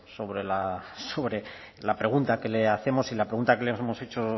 sobre la pregunta que le hacemos y la pregunta que le hemos hecho